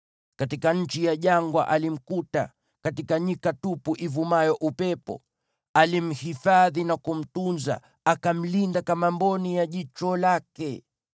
Katika nchi ya jangwa alimkuta, katika nyika tupu ivumayo upepo. Alimhifadhi na kumtunza; akamlinda kama mboni ya jicho lake,